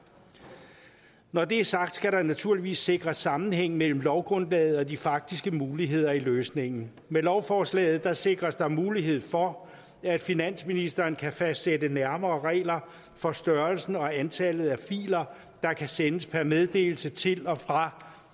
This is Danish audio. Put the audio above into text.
når det er sagt skal der naturligvis sikres sammenhæng mellem lovgrundlaget og de faktiske muligheder i løsningen med lovforslaget sikres der mulighed for at finansministeren kan fastsætte nærmere regler for størrelsen og antallet af filer der kan sendes per meddelelse til og fra